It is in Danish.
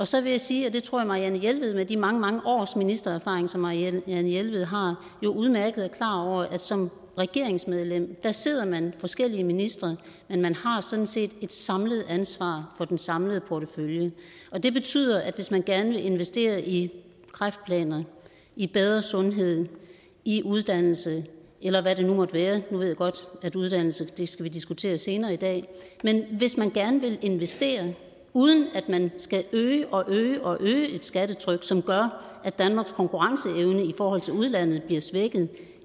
så vil jeg sige og det tror marianne jelved med de mange mange års ministererfaring som marianne jelved har jo udmærket er klar over at som regeringsmedlem sidder man forskellige ministre men man har sådan set et samlet ansvar for den samlede portefølje og det betyder at hvis man gerne vil investere i kræftplaner i bedre sundhed i uddannelse eller hvad det nu måtte være nu ved jeg godt at uddannelse skal vi diskutere senere i dag og hvis man gerne vil investere uden at man skal øge og øge og øge et skattetryk som gør at danmarks konkurrenceevne i forhold til udlandet bliver svækket